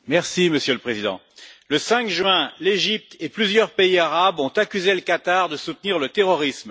Monsieur le Président, le 5 juin, l'Égypte et plusieurs pays arabes ont accusé le Qatar de soutenir le terrorisme.